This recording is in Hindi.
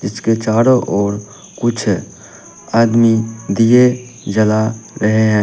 इसके चारों ओर कुछ आदमी दिए जला रहे हैं।